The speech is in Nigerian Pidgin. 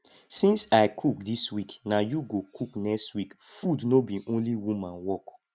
since i cook dis week na you go cook next week food no be only woman work